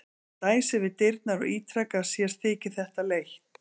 Hann dæsir við dyrnar og ítrekar að sér þyki þetta leitt.